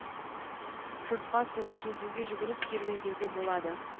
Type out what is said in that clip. жұртқа суға жүзуге жүгіріп серуендеуге болады